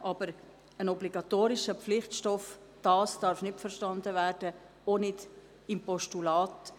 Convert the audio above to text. Aber ein obligatorischer Pflichtstoff sollte es nicht sein, auch nicht mittels eines Postulats.